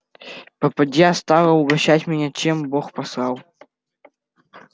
попадья стала угощать меня чем бог послал